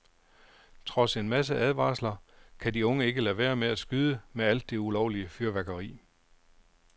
Trods en masse advarsler, kan de unge ikke lade være med at skyde med alt det ulovlige fyrværkeri.